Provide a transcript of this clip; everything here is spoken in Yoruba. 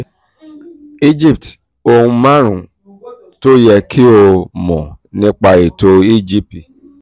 egypt: ohun márùn-ún tó yẹ kí o um mọ̀ nípa ètò egp